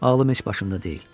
Ağlım heç başımda deyil.